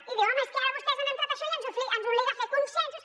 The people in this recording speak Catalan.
i diu home és que ara vostès han entrat a això i ens obliga a fer consensos